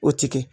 O ti kɛ